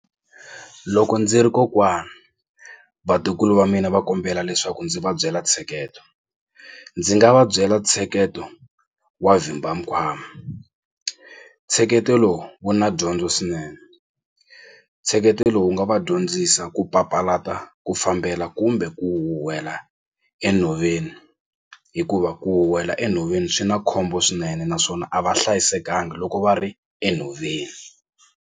Loko ndzi ri kokwani vatukulu va mina va kombela leswaku ndzi va byela ntsheketo ndzi nga va byela ntsheketo wa vhimba mikwama, ntsheketo lowu wu na dyondzo swinene ntsheketo lowu wu nga va dyondzisa ku papalata ku fambela kumbe ku huhwela enhoveni hikuva ku huhwela enhoveni swi na khombo swinene naswona a va hlayisekanga loko va ri enhoveni.